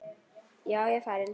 Já, ég er farinn.